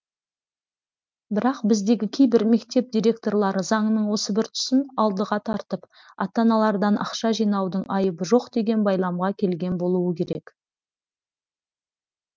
бірақ біздегі кейбір мектеп директорлары заңның осы бір тұсын алдыға тартып ата аналардан ақша жинаудың айыбы жоқ деген байламға келген болуы керек